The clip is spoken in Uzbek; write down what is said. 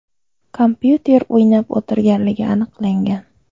kompyuter o‘ynab o‘tirganligi aniqlangan.